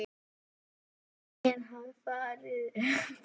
Nema Allen hafi farið upp.